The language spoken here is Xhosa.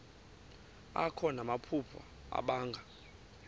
akho namaphupha abanga